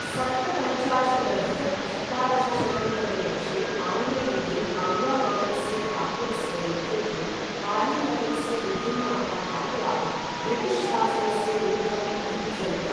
सप्तपञ्चाशदधिक अष्टादशशतं तमे वर्षे आङ्ग्लयुगे, औवा नगरस्य ठाकुरस्य नेतृत्वे पाली नगरस्य विभिन्नाः ठाकुराः ब्रिटिश् शासनस्य विरुद्धम् अयुध्यन्त।